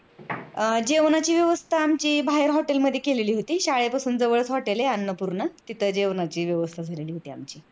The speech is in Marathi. अह जेवणाची व्यवस्था आमची बाहेर hotel मध्ये केलेली होती. शाळेपासून जवळच hotel आहे अन्नपूर्णा तिथं जेवणाची व्यवस्था झालेली होती आमची.